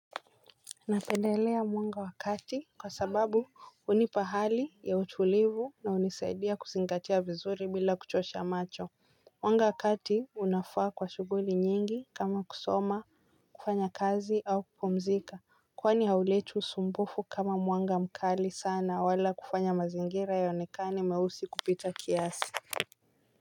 Napendelea mwanga wakati kwa sababu hunipa hali ya utulivu na hunisaidia kuzingatia vizuri bila kuchosha macho. Mwanga wakati unafaa kwa shughuli nyingi kama kusoma kufanya kazi au kupumzika. Kwani hauleti usumbufu kama mwanga mkali sana wala kufanya mazingira yaonekane meusi kupita kiasi.